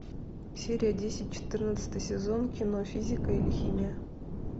серия десять четырнадцатый сезон кино физика или химия